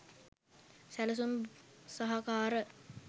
සැලසුම් සහකාර